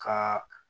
Ka